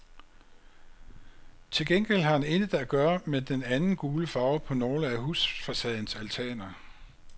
Til gengæld har han intet at gøre med den anden gule farve på nogle af husfacadens altaner.